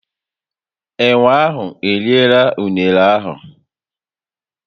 Enwe ahu eriela unere ahu